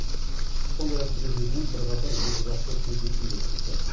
сондай ақ президент бірқатар екіжақты кездесу өткізді